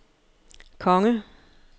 konge